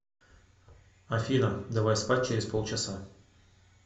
афина давай спать через полчаса